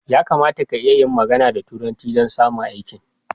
Ya kamata ka iya yin magana da turanci don samun aikin